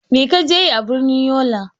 Mai ka je yi a birnin Yola?